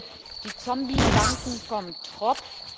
Nehmen wir die Zombie-Banken vom Tropf.